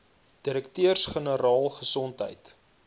direkteurs generaal gesondheid